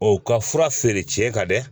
O ka fura feere ka dɛ